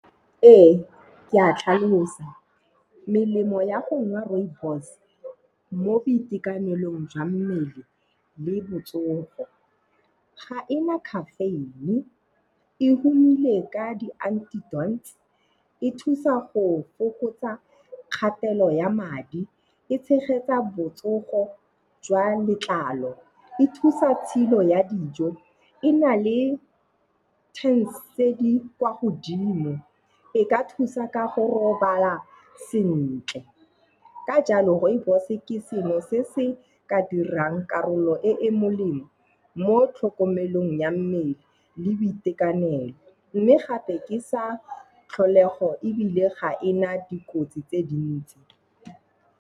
Ee, ke a tlhalosa. Melemo ya go nwa rooibos mo boitekanelong jwa mmele le botsogo. Ga ena caffeine, e humile ka . E thusa go fokotsa kgatelo ya madi. E tshegetsa botsogo jwa letlalo. E thusa tshilo ya dijo. E na le tse di kwa godimo. E ka thusa ka go robala sentle. Ka jalo rooibos-e ke sengwe se se ka dirang karolo e e molemo mo tlhokomelong ya mmele le boitekanelo mme gape ke sa tlholego ebile ga ena dikotsi tse dintsi.